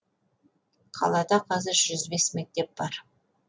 қалада қазір жүз бес мектеп бар